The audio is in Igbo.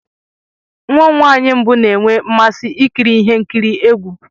Nwa m nwanyị mbụ na-enwe mmasị ikiri ihe nkiri egwu.